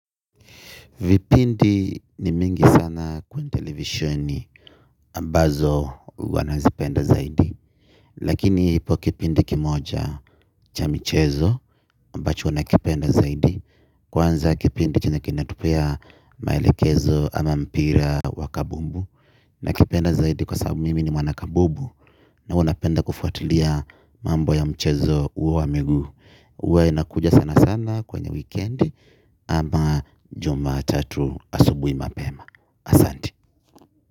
Vipindi ni mingi sana kwenye televisheni ambazo ua nazipenda zaidi. Lakini ipo kipindi kimoja cha michezo ambacho nakipenda zaidi. Kwanza kipindi chenye kinatupea maelekezo ama mpira wa kabumbu nakipenda zaidi kwa sababu mimi ni mwanakabubu na ua napenda kufuatilia mambo ya mchezo uo wa miguu. Uwa inakuja sana sana kwenye wikendi ama jumatatu asubui mapema. Asanti.